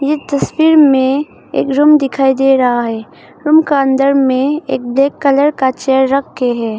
ये तस्वीर में एक रूम दिखाई दे रहा है रूम का अंदर में एक ब्लैक कलर का चेयर रखें है।